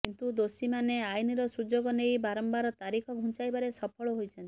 କିନ୍ତୁ ଦୋଷୀମାନେ ଆଇନର ସୁଯୋଗ ନେଇ ବାରମ୍ବାର ତାରିଖ ଘୁଞ୍ଚାଇବାରେ ସଫଳ ହୋଇଛନ୍ତି